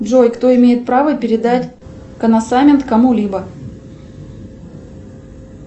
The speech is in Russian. джой кто имеет право передать коносамент кому либо